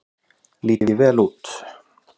Lít ég vel út?